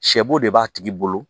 Sɛbo de b'a tigi bolo